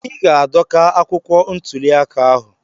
Ị ga-adọka akwụkwọ ntuli aka ahụ.